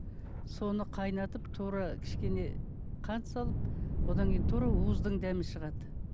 соны қайнатып тура кішкене қант салып одан кейін тура уыздың дәмі шығады